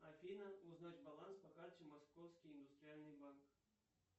афина узнать баланс по карте московский индустриальный банк